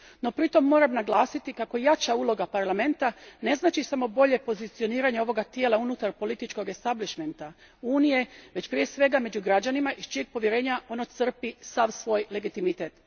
No, pritom moram naglasiti kako jača uloga Parlamenta ne znači samo bolje pozicioniranje ovog tijela unutar političkog establišmenta Unije, već prije svega među građanima, iż čijeg povjerenja ono crpi sav svoj legitimitet.